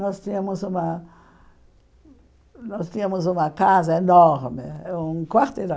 Nós tínhamos uma nós tinhamos uma casa enorme, eh um quarteirão.